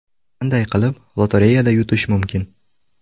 Qanday qilib lotereyada yutish mumkin?